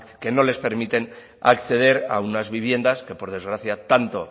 que no les permiten acceder a unas viviendas que por desgracia tanto